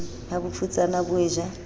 ha bofutsana bo e ja